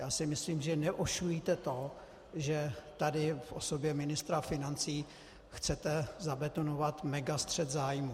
Já si myslím, že neošulíte to, že tady v osobě ministra financí chcete zabetonovat megastřet zájmů.